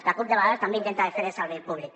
la cup de vegades també intenta de fer el servei públic